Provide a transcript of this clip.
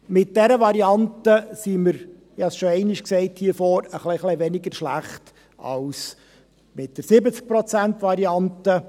Mit dieser Variante sind wir – und das habe ich hier vorne am Rednerpult schon einmal gesagt – etwas weniger schlecht als mit der 70-Prozent-Variante.